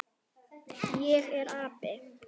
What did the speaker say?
Ég er api.